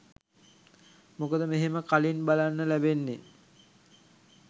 මොකද මෙහෙම කලින් බලන්න ලැබෙන්නේ